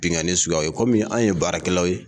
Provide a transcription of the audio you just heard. Binganni suguyaw ye kɔmi anw ye baarakɛlaw ye.